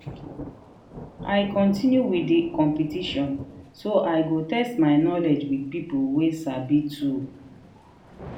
i continue with the competition so i go test my knowledge with people wey sabi too.